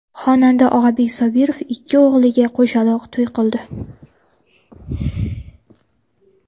Xonanda Og‘abek Sobirov ikki o‘g‘liga qo‘shaloq to‘y qildi .